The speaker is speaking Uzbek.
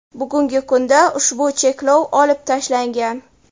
Bugungi kunda ushbu cheklov olib tashlangan.